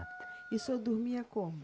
E o senhor dormia como?